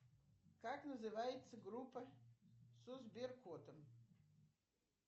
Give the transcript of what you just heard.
как называется группа со сберкотом